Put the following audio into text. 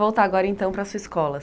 Voltar agora então para a sua escola.